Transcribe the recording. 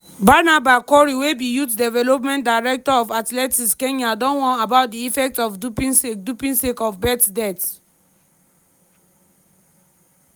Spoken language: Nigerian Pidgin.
barnaba korir wey be youth development director of athletics kenya don warn about di effects of doping sake doping sake of bett death.